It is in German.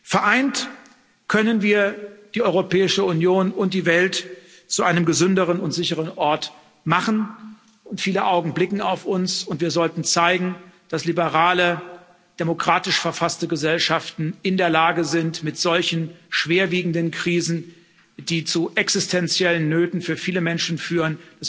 Vereint können wir die Europäische Union und die Welt zu einem gesünderen und sicheren Ort machen. Viele Augen blicken auf uns, und wir sollten zeigen, dass liberale, demokratisch verfasste Gesellschaften in der Lage sind, mit solchen schwerwiegenden Krisen, die zu existenziellen Nöten für viele Menschen